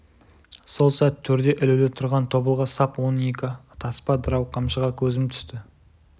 сол сәт төрде ілулі түрған тобылғы сап он екі таспа дырау қамшыға көзім түсті